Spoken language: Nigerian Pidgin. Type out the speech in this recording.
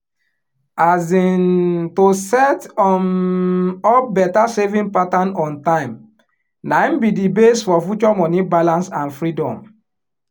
um to set um up better saving pattern on time naim be di base for future money balance and freedom